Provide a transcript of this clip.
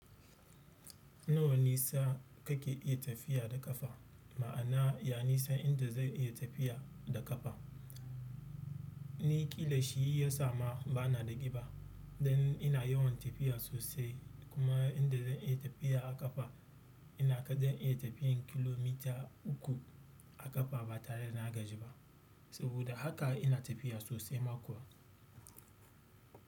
Nawa nisa kake iya tafiya da ƙafa? Ma'ana, ya nisan inda zan iya tafiya da ƙafa? Ni ƙila shi ya sa ma bana daƙiba, dan ina yawan tafiya sosai kuma inda zan iya tafiya a ƙafa inaga dan iya tafiyan kilomita uku a ƙafa ba tare da na gaji ba, saboda haka ina tafiya sosai ma kuwa.